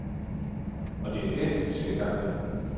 Og det er det, vi skal i gang med nu.